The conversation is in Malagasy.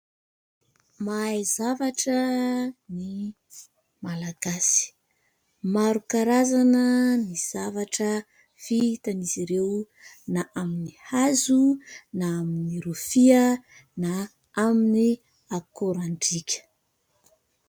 Mahay zavatra ny malagasy. Maro karazana ny zavatra vitan'izy ireo na amin'ny hazo na amin'ny rofia na amin'ny akorandrika.